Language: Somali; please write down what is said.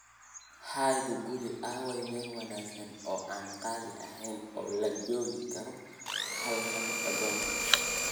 hi guguli, aaway meel wanaagsan oo aan qaali ahayn oo lagu joogi karo halkan dodoma